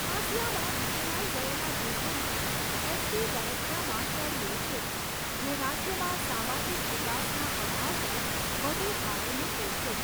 હાંસિયામાં ધકેલાઈ ગયેલા જૂથોમાં, એસટી દરજ્જામાં તળિયે છે, જે રાજ્યમાં સામાજિક વિકાસના અભાવ પર વધુ ભાર મૂકે છે.